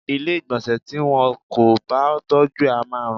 Ilé ìgbọ̀nsẹ̀ tí wọn kò bá tọ́jú á ma rùn.